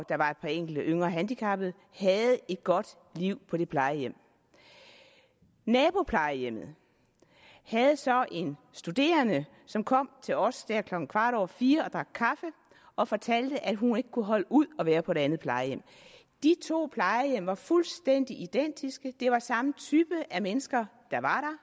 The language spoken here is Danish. der var et par enkelte yngre handicappede havde et godt liv på det plejehjem naboplejehjemmet havde så en studerende som kom til os der klokken kvart over fire og drak kaffe og fortalte at hun ikke kunne holde ud at være på det andet plejehjem de to plejehjem var fuldstændig identiske det var samme type af mennesker der var